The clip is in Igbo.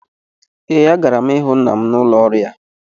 Ee, agara m ịhụ nna m n’ụlọ ọrụ ya